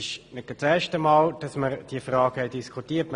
Es ist nicht das erste Mal, dass wir diese Frage diskutieren.